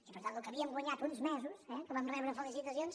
i per tant el que havíem guanyat uns mesos eh que vam rebre felicitacions